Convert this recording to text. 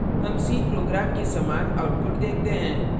अतः हम c program के समान output देखते हैं